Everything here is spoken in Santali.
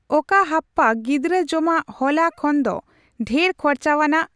ᱚᱠᱟ ᱦᱟᱯᱯᱟ ᱜᱤᱫᱨᱟᱹ ᱡᱚᱢᱟᱜ ᱦᱚᱞᱟ ᱠᱷᱚᱱᱫᱚ ᱰᱷᱮᱨ ᱠᱷᱚᱨᱪᱟᱣᱟᱱᱟᱜ ᱾